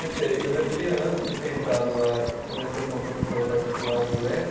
Eu sei, eu já tinha, antes de ter entrado lá, comecei com uma professora particular inglês.